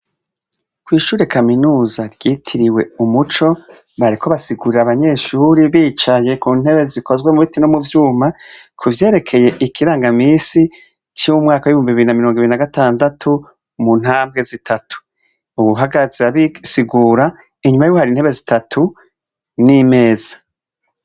Kw'ishure kaminuza ryitiriwe umuco bariko basigurira abanyeshure bicaye ku ntebe zikozwe mu biti no mu vyuma, kuvyerekeye ikirangamisi co mu mwakaw'ibihumbi bibiri na mirongo ibiri na gatandatu mu ntambwe zitatu. Uwuhagaze abisigura, inyuma yiwe hari intebe zitatu n'imeza.